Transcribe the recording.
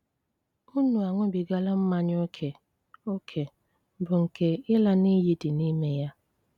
Unu aṅụbigala mmanya ókè, ókè, bụ́ nkè ịla n'iyi dị n'ime yà.